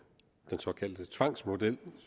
den såkaldte tvangsmodel